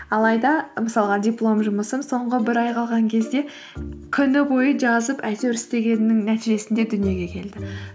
алайда мысалға диплом жұмысым соңғы бір ай қалған кезде күні бойы жазып әйтеуір істегеннің нәтижесінде дүниеге келді